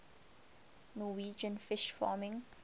norwegian fish farming